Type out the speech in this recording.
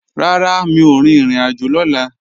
Rárá, mi ò rin ìrìnàjò lọ́la